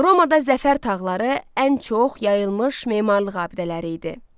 Romada zəfər tağları ən çox yayılmış memarlıq abidələri idi.